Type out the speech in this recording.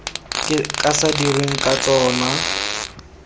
ka se dirweng ka tsona